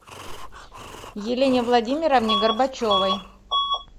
елене владимировне горбачевой